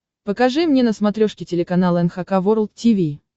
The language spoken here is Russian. покажи мне на смотрешке телеканал эн эйч кей волд ти ви